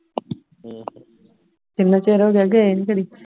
ਚੰਗਾ